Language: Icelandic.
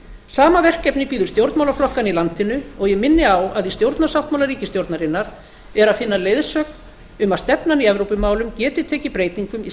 sama verkefni bíður stjórnmálaflokkanna í landinu og ég minni á að í stjórnarsáttmála ríkisstjórnarinnar er að finna leiðsögn um að stefnan í evrópumálum geti tekið breytingum í